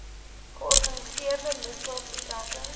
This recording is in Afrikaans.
georganiseerde misdaad betrekking